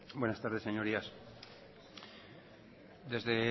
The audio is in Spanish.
buenas tardes señorías desde